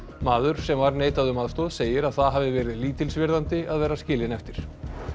maður sem var neitað um aðstoð segir að það hafi verið lítilsvirðandi að vera skilinn eftir